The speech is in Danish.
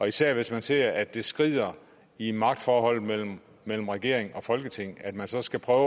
især hvis man ser at det skrider i magtforholdet mellem mellem regeringen og folketinget og at man så skal prøve